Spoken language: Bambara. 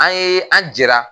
An ye an jɛra